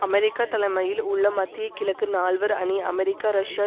America தலைமையில் உள்ள மத்திய கிழக்கு நால்வர் அணி அமெரிக்கா ரஷ்யா